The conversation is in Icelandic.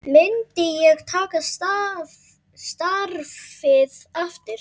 Myndi ég taka starfið aftur?